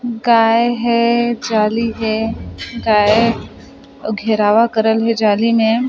गाय है जाली है गाय घेरावा करल हे जाली में--